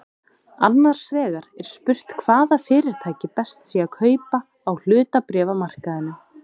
Annars vegar er spurt hvaða fyrirtæki best sé að kaupa á hlutabréfamarkaðinum.